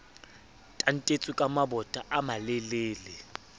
tantetswe ka mabota a malelele